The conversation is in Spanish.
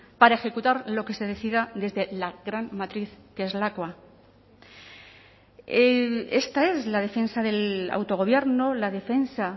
para ejecutar lo que se decida desde la gran matriz que es lakua esta es la defensa del autogobierno la defensa